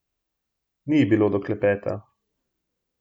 Ni ji bilo do klepeta.